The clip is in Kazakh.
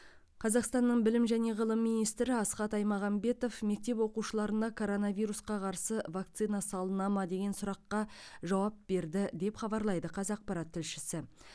қазақстанның білім және ғылым министрі асхат аймағамбетов мектеп оқушыларына коронавирусқа қарсы вакцина салына ма деген сұраққа жауап берді деп хабарлайды қазақпарат тілшісі